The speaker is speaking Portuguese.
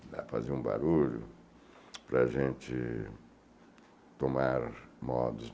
Dá para fazer um barulho para a gente tomar modos.